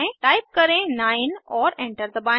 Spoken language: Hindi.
टाइप करें 9 और एंटर दबाएं